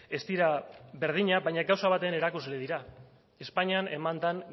ez dira berdinak baina gauza baten erakusle dira espainian eman den